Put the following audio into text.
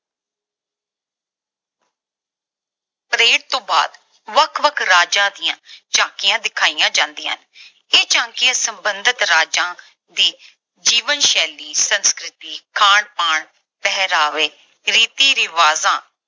parade ਤੋਂ ਬਾਅਦ ਵੱਖ-ਵੱਖ ਰਾਜਾਂ ਦੀਆਂ ਝਾਕੀਆਂ ਵਿਖਾਈਆਂ ਜਾਂਦੀਆਂ ਹਨ। ਇਹ ਝਾਕੀਆਂ ਸਬੰਧਤ ਰਾਜਾਂ ਦੀ ਜੀਵਨ ਸ਼ੈਲੀ, ਸੰਸਕ੍ਰਿਤੀ, ਖਾਣ-ਪਾਣ, ਪਹਿਰਾਵੇ, ਰੀਤੀ ਰਿਵਾਜਾਂ,